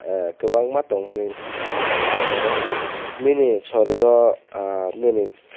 kobangma tongmani amo wngka amorok nini sarir o nini pet.